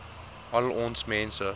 al ons mense